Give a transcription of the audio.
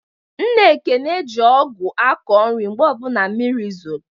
Nna Ekene ji ọgụ akọ nri mgbe ọbụla mmiri zolu.